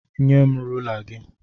Nyem rula gị!